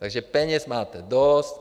Takže peněz máte dost.